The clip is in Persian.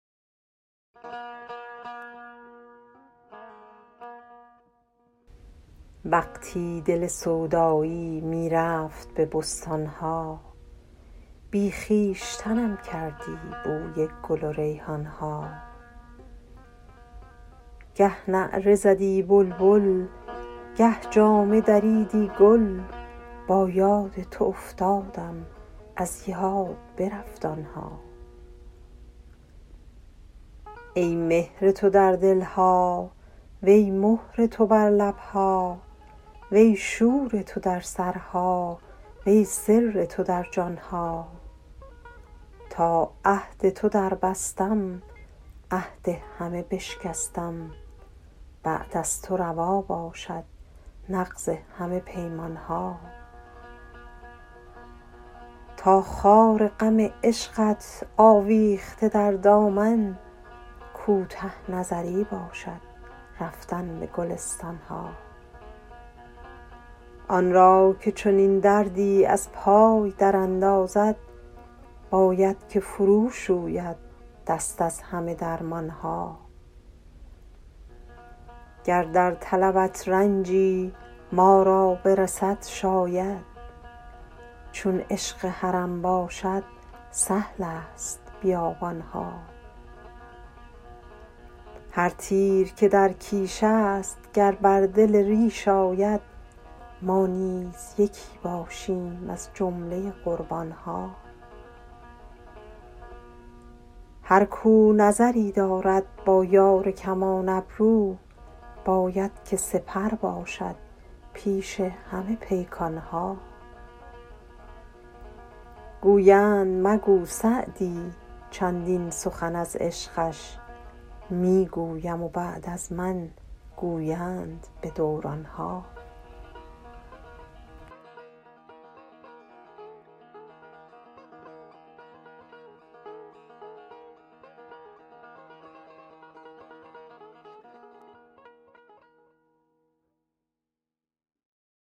وقتی دل سودایی می رفت به بستان ها بی خویشتنم کردی بوی گل و ریحان ها گه نعره زدی بلبل گه جامه دریدی گل با یاد تو افتادم از یاد برفت آن ها ای مهر تو در دل ها وی مهر تو بر لب ها وی شور تو در سرها وی سر تو در جان ها تا عهد تو دربستم عهد همه بشکستم بعد از تو روا باشد نقض همه پیمان ها تا خار غم عشقت آویخته در دامن کوته نظری باشد رفتن به گلستان ها آن را که چنین دردی از پای دراندازد باید که فروشوید دست از همه درمان ها گر در طلبت رنجی ما را برسد شاید چون عشق حرم باشد سهل است بیابان ها هر تیر که در کیش است گر بر دل ریش آید ما نیز یکی باشیم از جمله قربان ها هر کاو نظری دارد با یار کمان ابرو باید که سپر باشد پیش همه پیکان ها گویند مگو سعدی چندین سخن از عشقش می گویم و بعد از من گویند به دوران ها